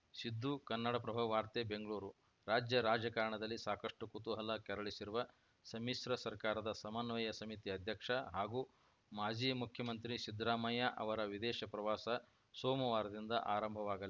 ಸಿದ್ದು ಕನ್ನಡಪ್ರಭ ವಾರ್ತೆ ಬೆಂಗಳೂರು ರಾಜ್ಯ ರಾಜಕಾರಣದಲ್ಲಿ ಸಾಕಷ್ಟುಕುತೂಹಲ ಕೆರಳಿಸಿರುವ ಸಮ್ಮಿಶ್ರ ಸರ್ಕಾರದ ಸಮನ್ವಯ ಸಮಿತಿ ಅಧ್ಯಕ್ಷ ಹಾಗೂ ಮಾಜಿ ಮುಖ್ಯಮಂತ್ರಿ ಸಿದ್ದರಾಮಯ್ಯ ಅವರ ವಿದೇಶ ಪ್ರವಾಸ ಸೋಮವಾರದಿಂದ ಆರಂಭವಾಗ